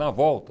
Na volta